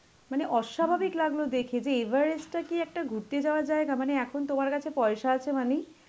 মানে অস্বাভাবিক লাগলো দেখে যে এভারেস্টটা কি একটা ঘুরতে যাওয়া জায়গা মানে এখন তোমার কাছে পয়সা আছে মানেই